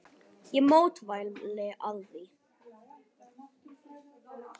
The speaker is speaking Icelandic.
Ég mótmæli því.